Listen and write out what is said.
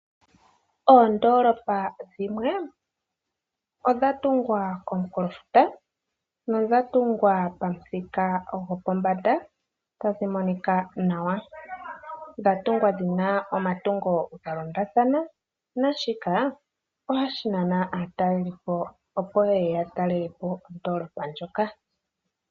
Oondoolopa dhimwe odhatungwa komunkulofuta nodha tungwa pamuthika gwopombanda tadhi monika nawa. Dhatungwa dhina omatungo galondathana naashika ohashi nana aatalelipo opo yeye yatalele po oondoolopa ndjoka.